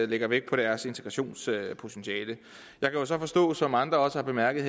lægger vægt på deres integrationspotentiale jeg kan så forstå som andre også har bemærket